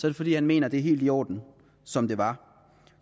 er fordi han mener at det er helt i orden som det var